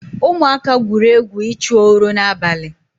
Ụmụaka gwụrụ egwu ịchụ oro n'abalị